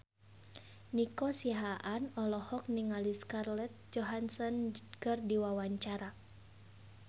Nico Siahaan olohok ningali Scarlett Johansson keur diwawancara